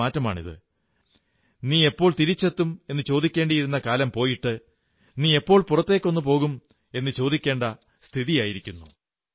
കാലത്തിന്റെ മാറ്റമാണ് നീയെപ്പോൾ തിരിച്ചെത്തുമെന്നു ചോദിക്കേണ്ടിയിരുന്ന കാലം പോയിട്ട് നീയെപ്പോൾ പുറത്തേക്കൊന്നു പോകുമെന്നു ചോദിക്കേണ്ട സ്ഥിതിയായിരിക്കുന്നു